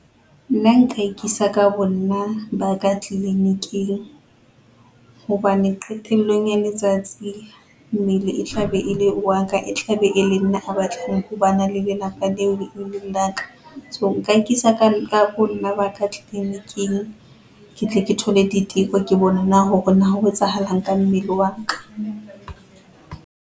Nna nka ikisa ka bo nna ba ka clinic-ing hobane qetellong ya letsatsi mmele e tlabe ele wa ka e tla be e le nna a batlang ho ba le lelapa leo e leng la ka. So nka ikisa ka bo nna ba ka clinic-ing ke tle ke thole diteko, ke bone hore na ho etsahala eng ka mmele wa ka.